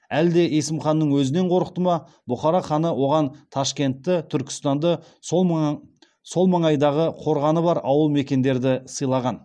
әлде есімханның өзінен қорықты ма бұхара ханы оған ташкентті түркістанды сол маңайдағы қорғаны бар ауыл мекендерді сыйлаған